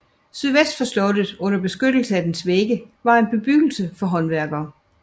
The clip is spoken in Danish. Sydvest for slottet under beskyttelse af dens vægge var en bebyggelse for håndværkere